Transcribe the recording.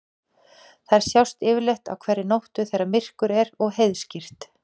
Þær sjást yfirleitt á hverri nóttu þegar myrkur er og heiðskírt.